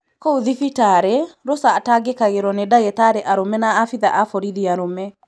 Kũu thibitarĩ, Rosa atangĩkagĩrwo nĩ ndagitarĩ arũme na abithaa a borithi arũme.